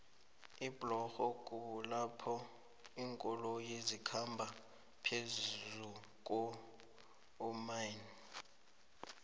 iblorho kulapho linkoloyo zikhamba phezukuomanei